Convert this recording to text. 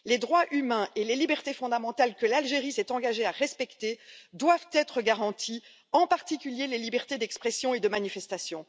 Les droits humains et les libertés fondamentales que l'Algérie s'est engagée à respecter doivent être garantis, en particulier les libertés d'expression et de manifestation.